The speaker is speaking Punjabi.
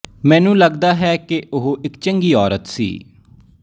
ਮੈਨੂੰ ਲੱਗਦਾ ਹੈ ਕਿ ਉਹ ਇਕ ਚੰਗੀ ਔਰਤ ਸੀ